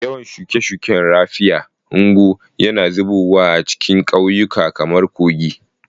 Ruwan shuke-shuken raffia, ngwo, yana zubowa ta cikin ƙauyuka kamar kogi.